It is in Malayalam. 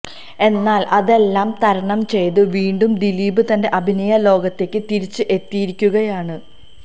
എന്നാല് അതെല്ലാം തരണം ചെയ്ത് വീണ്ടും ദിലീപ് തന്റെ അഭിനയ ലോകത്തേക്ക് തിരിച്ച് എത്തിയിരിക്കുകയാണ്